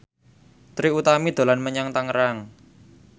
Trie Utami dolan menyang Tangerang